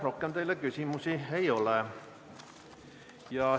Rohkem teile küsimusi ei ole.